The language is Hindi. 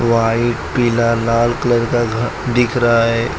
व्हाइट पीला लाल कलर का घ दिख रहा है।